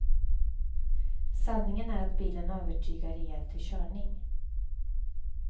Sanningen är att bilen övertygar rejält vid körning.